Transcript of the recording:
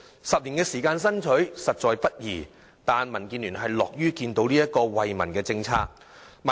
十年時間的爭取，實在不易，但民建聯樂見這項惠民政策的落實。